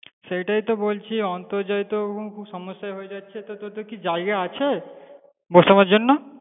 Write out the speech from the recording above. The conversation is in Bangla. সেটাই তো বলছি, অন্তর্জাল তো খুব সমস্যা হয়ে যাচ্ছে তা তো তোদের কি জায়গা আছে বসানোর জন্য?